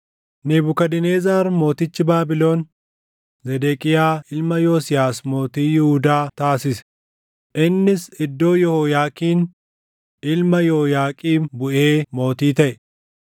Nebukadnezar mootichi Baabilon Zedeqiyaa ilma Yosiyaas mootii Yihuudaa taasise; innis iddoo Yehooyaakiin ilma Yehooyaaqiim buʼee mootii taʼe.